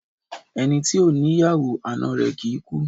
Ẹni tí ò ní yàwó, ana rẹ̀ kìí kú